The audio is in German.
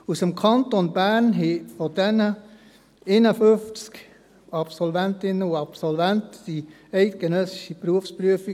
Davon bestanden 51 Absolventinnen und Absolventen aus dem Kanton erfolgreich die eidgenössische Berufsprüfung.